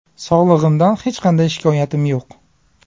Sog‘lig‘imdan hech qanday shikoyatim yo‘q.